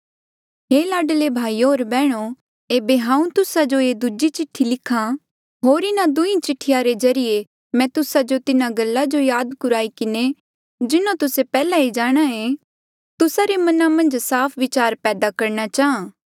हे लाडले भाईयो होर बैहणो एेबे हांऊँ तुस्सा जो ये दूजी चिठ्ठी लिख्हा होर इन्हा दुहीं चिठिया रे ज्रीए मैं तुस्सा जो तिन्हा गल्ला जो याद कुराई किन्हें जिन्हों तुस्से पैहले जाणांहे तुस्सा रे मना मन्झ साफ विचार पैदा करणा चाहां